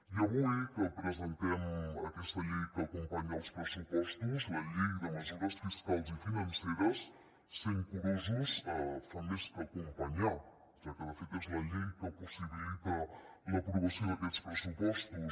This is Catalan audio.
i avui que presentem aquesta llei que acompanya els pressupostos la llei de mesures fiscals i financeres sent curosos fa més que acompanyar ja que de fet és la llei que possibilita l’aprovació d’aquests pressupostos